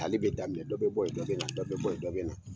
ale be daminɛ dɔ be bɔ yen dɔ be na dɔ be bɔ yen dɔ be na